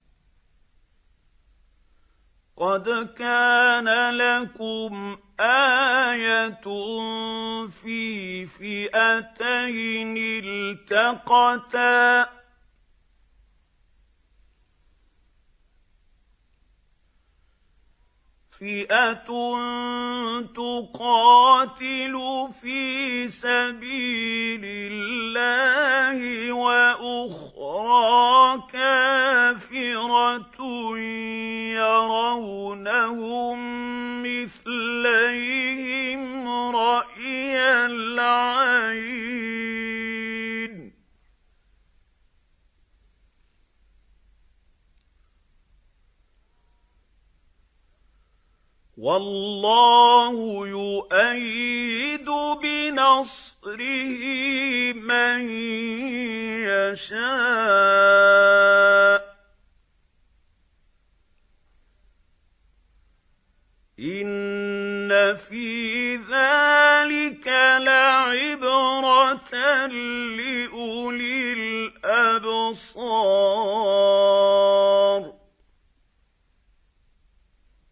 قَدْ كَانَ لَكُمْ آيَةٌ فِي فِئَتَيْنِ الْتَقَتَا ۖ فِئَةٌ تُقَاتِلُ فِي سَبِيلِ اللَّهِ وَأُخْرَىٰ كَافِرَةٌ يَرَوْنَهُم مِّثْلَيْهِمْ رَأْيَ الْعَيْنِ ۚ وَاللَّهُ يُؤَيِّدُ بِنَصْرِهِ مَن يَشَاءُ ۗ إِنَّ فِي ذَٰلِكَ لَعِبْرَةً لِّأُولِي الْأَبْصَارِ